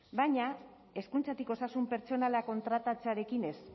baina hezkuntzatik osasun pertsonala kontratatzearekin ez